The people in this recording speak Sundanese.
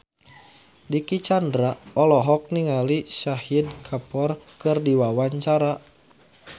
Dicky Chandra olohok ningali Shahid Kapoor keur diwawancara